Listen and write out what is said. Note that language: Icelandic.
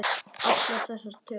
Allar þessar tölur.